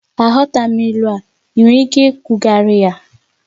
Aghọtaghị m ilu a, ị nwere ike ikwugharị ya?